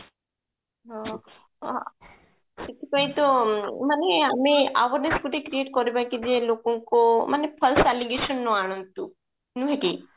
ହଁ ହଁ ସେଥିପାଇଁ ତ ମାନେ ଆମେ ଆଉ ଗୋଟେ କରିବା କି ଯେ ଲୋକଙ୍କୁ ମାନେ false allegation ନ ଆଣନ୍ତୁ ନୁହେଁ କି